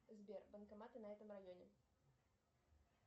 сбер банкоматы в этом районе